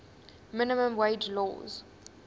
minimum wage laws